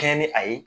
Kɛɲɛ ni a ye